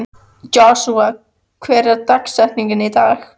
Joshua, hver er dagsetningin í dag?